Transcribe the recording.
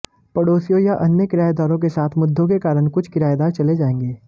पड़ोसियों या अन्य किरायेदारों के साथ मुद्दों के कारण कुछ किरायेदार चले जाएंगे